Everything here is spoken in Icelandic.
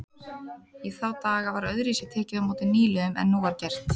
Í þá daga var öðruvísi tekið á móti nýliðum en nú er gert.